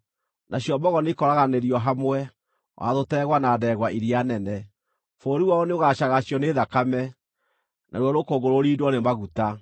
Nacio mbogo nĩikooraganĩrio hamwe, o na tũtegwa na ndegwa iria nene. Bũrũri wao nĩũgaacagacio nĩ thakame, naruo rũkũngũ rũrindwo nĩ maguta.